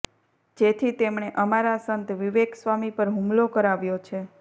જેથી તેમણે અમારા સંત વિવેક સ્વામી પર હુમલો કરાવ્યો છે